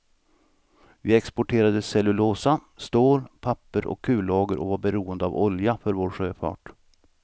Vi exporterade cellulosa, stål, papper och kullager och var beroende av olja för vår sjöfart.